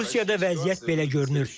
Rusiyada vəziyyət belə görünür.